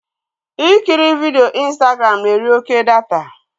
Ikiri vidio Ịnstagram na-eri oké data